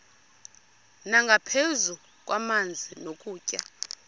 nangaphezu kwamanzi nokutya